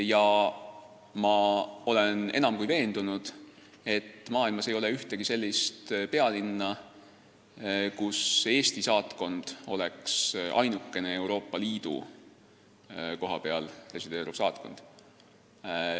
Ja ma olen enam kui veendunud, et maailmas ei ole ühtegi sellist pealinna, kus Eesti saatkond oleks ainukene Euroopa Liidu kohapeal resideeriv saatkond.